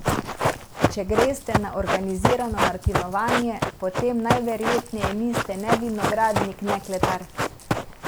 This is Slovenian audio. Če greste na organizirano martinovanje, potem najverjetneje niste ne vinogradnik ne kletar.